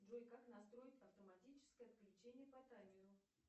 джой как настроить автоматическое отключение по таймеру